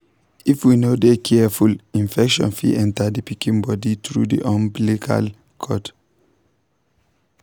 if we no de careful infection fit enter the pikin body through the umbilical cord.